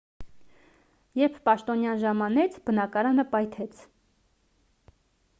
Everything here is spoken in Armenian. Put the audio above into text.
երբ պաշտոնյան ժամանեց բնակարանը պայթեց